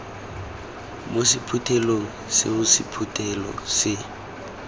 mo sephuthelong seo sephuthelo se